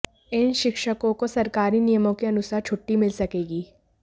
इन शिक्षकों को सरकारी नियमों के अनुसार छुट्टी मिल सकेगी